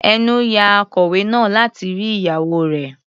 Ẹnú ya akọlwé náà láti rí ìyàwó rẹ̀.